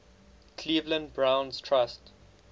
cleveland browns trust